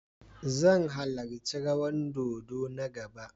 Zan halarci rawan dodo na gaba.